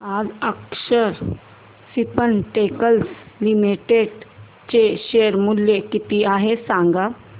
आज Akshar Spintex limited चे share मूल्य किती आहे सांगा